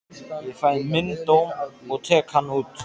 Ég fæ minn dóm og tek hann út.